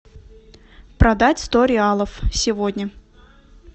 продать сто реалов сегодня